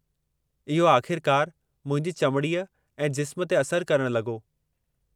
इहो आख़िरकार मुंहिंजी चमड़ीअ ऐं जिस्म ते असर करण लॻो।